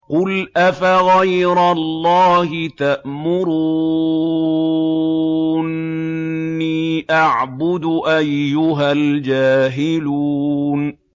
قُلْ أَفَغَيْرَ اللَّهِ تَأْمُرُونِّي أَعْبُدُ أَيُّهَا الْجَاهِلُونَ